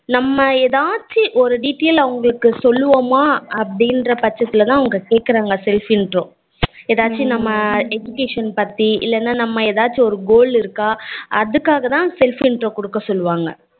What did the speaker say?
நம்ம ஏதாச்சும் ஒரு detail அவங்களுக்கு சொல்லுவோமா அப்டின்ற பட்சத்துல தான் அவங்க கேக்ககுறங்கா self intro ஏதாச்சும் நம்ம education பத்தி இல்லனா நம்ம ஏதாச்சும் ஒரு goal இருக்கா அதுகாகதான் self intro குடுக்க சொல்லுவாங்க